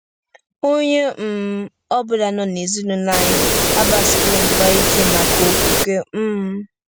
Onye um ọ bụla nọ n'ezinụlọ anyị agbasiwo mgba ike maka okwukwe. um